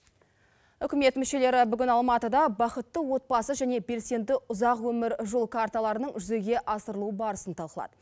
үкімет мүшелері бүгін алматыда бақытты отбасы және белсенді ұзақ өмір жол карталарының жүзеге асырылу барысын талқылады